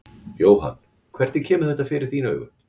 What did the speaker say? Jóhann: Hvernig kemur þetta fyrir þín augu?